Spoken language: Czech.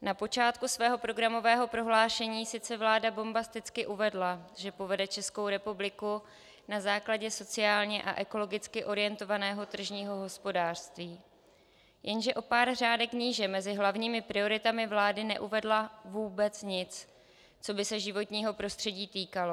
Na počátku svého programového prohlášení sice vláda bombasticky uvedla, že povede Českou republiku na základě sociálně a ekologicky orientovaného tržního hospodářství, jenže o pár řádek níže mezi hlavními prioritami vlády neuvedla vůbec nic, co by se životního prostředí týkalo.